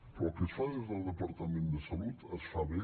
però el que es fa des del departament de salut es fa bé